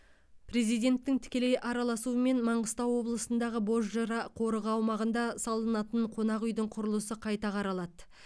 президенттің тікелей араласуымен маңғыстау облысындағы бозжыра қорығы аумағында салынатын қонақүйдің құрылысы қайта қаралады